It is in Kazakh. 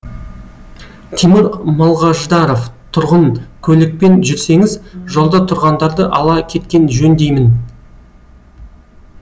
тимур малғаждаров тұрғын көлікпен жүрсеңіз жолда тұрғандарды ала кеткен жөн деймін